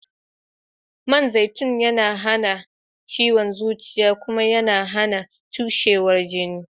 Man zaitun na wanke zuciya Kuma YAna HAna cushewar jini